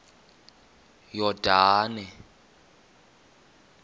yordane